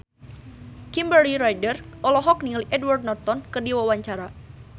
Kimberly Ryder olohok ningali Edward Norton keur diwawancara